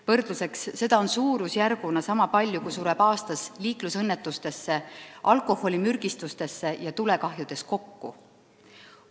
Võrdluseks, et seda on suurusjärguna sama palju, kui sureb aastas kokku inimesi liiklusõnnetuste, alkoholimürgistuste ja tulekahjude tagajärjel.